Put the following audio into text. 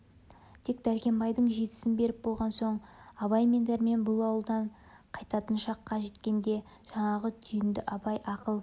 тек дәркембайдың жетісін беріп болған соң абай мен дәрмен бұл ауылдан қайтатын шаққа жеткенде жаңағы түйінді абай ақыл